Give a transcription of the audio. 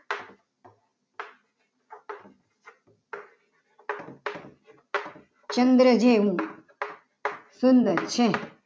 કે ચંદ્ર જેવું સુંદર છે.